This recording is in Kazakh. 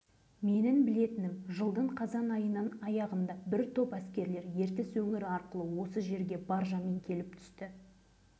оған бірден жауап бермес бұрын жылдан жылға дейін кеңес жұмысында болып қазір зейнеткер атанып отырған темірбек тұяқбаевтың мына